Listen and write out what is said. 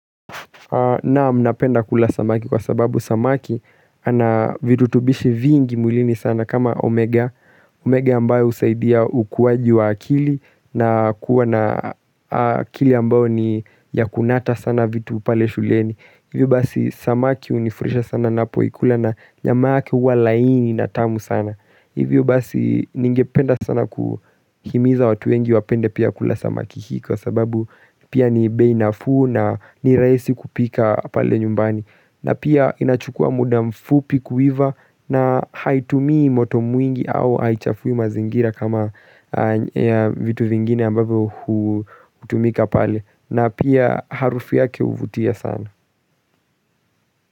Naam napenda kula samaki kwa sababu samaki ana virutubishi vingi mwilini sana kama omega omega ambayo husaidia ukuaji wa akili na kuwa na akili ambayo ni ya kunata sana vitu pale shuleni Hivyo basi samaki hunifurahisha sana napoikula na nyama yake huwa laini na tamu sana Hivyo basi ningependa sana kuhimiza watu wengi wapende pia kula samaki hii kwa sababu pia ni bei nafuu na ni rahisi kupika pale nyumbani. Na pia inachukua muda mfupi kuiva na haitumii moto mwingi au haichafui mazingira kama vitu vingine ambavyo hutumika pale. Na pia harufu yake huvutia sana.